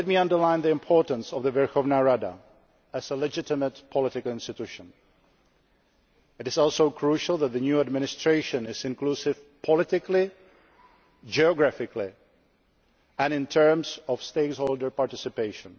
I want to underline the importance of the Verkhovna Rada as a legitimate political institution. It is also crucial that the new administration is inclusive, politically, geographically and in terms of stakeholder participation.